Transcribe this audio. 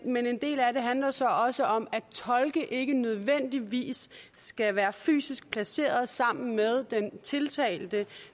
men en del af det handler så også om at tolke ikke nødvendigvis skal være fysisk placeret sammen med den tiltalte